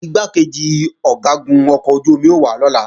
Igbákejì Ọ̀gágun ọkọ̀ ojú-omi ó wá lọ́la